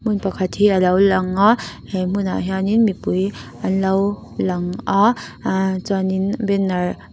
hmun pakhat hi a lo lang a he hmuhah hian in mipui an lo lang a aaa chuanin banner --